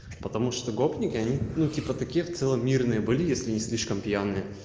потому что гопника они ну типа таких целый мир наиболее если не слишком пьян